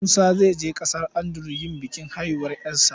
Musa zai je ƙasar Andalus yin bikin haihuwar 'yarsa.